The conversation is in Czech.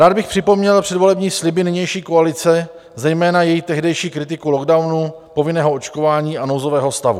Rád bych připomněl předvolební sliby nynější koalice, zejména její tehdejší kritiku lockdownu, povinného očkování a nouzového stavu.